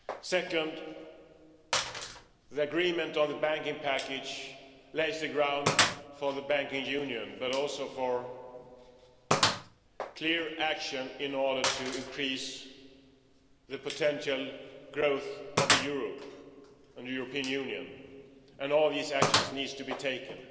Second, the agreement on the banking package lays the ground for the banking union, but also for clear action in order to increase the potential growth of Europe and the European Union, and all these actions need to be taken.